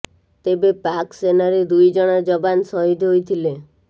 ତେବେ ପାକ୍ ସେନାରେ ଦୁଇ ଜଣ ଯବାନ ସହିଦ ହୋଇଥିଲେ